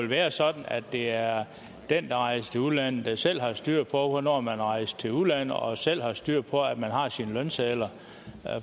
være sådan at det er den der rejste til udlandet der selv har styr på hvornår man er rejst til udlandet og selv har styr på at man har sine lønsedler